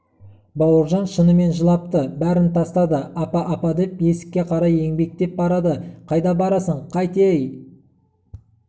бауыржан шынымен жылапты бәрін тастады апа апа деп есікке қарай еңбектеп барады қайда барасың қайт ей